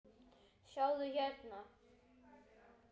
Sjáðu hérna.